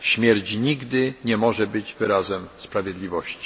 Śmierć nigdy nie może być wyrazem sprawiedliwości.